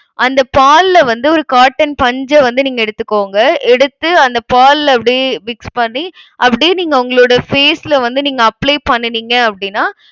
அந்த பால்ல வந்து ஒரு cotton பஞ்ச வந்து, நீங்க எடுத்துக்கோங்க. எடுத்து அந்த பால்ல அப்படியே mix பண்ணி அப்படியே நீங்க உங்களோட face ல வந்து நீங்க apply பண்ணுனீங்க அப்படின்னா,